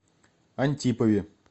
антипове